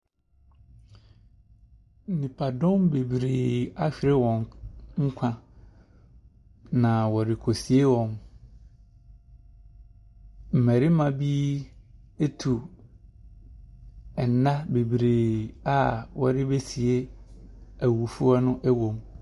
Nnipadɔm bebree ahwere wɔn nkwa. Na wɔresie wɔn. Mmarima bi atu nna bebree a wɔbesie awufoɔ no wɔ mu.